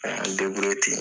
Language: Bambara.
An y'an ten.